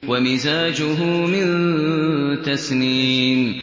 وَمِزَاجُهُ مِن تَسْنِيمٍ